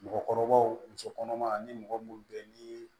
Mɔgɔkɔrɔbaw muso kɔnɔma ni mɔgɔ munnu bɛ yen ni